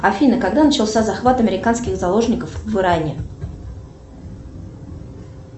афина когда начался захват американских заложников в иране